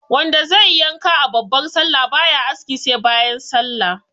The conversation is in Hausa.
Wanda zaiyi yanka a babbar sallah baya aski sai bayan sallah